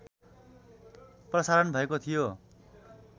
प्रसारण भएको थियो